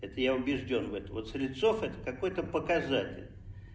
это я убеждён в этом вот слецов это какой-то показатель